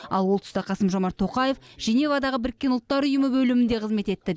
ал ол тұста қасым жомарт тоқаев женевадағы біріккен ұлттар ұйымы бөлімінде қызмет етті